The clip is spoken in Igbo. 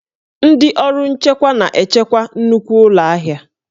Ndị ọrụ nchekwa na-echekwa nnukwu ụlọ ahịa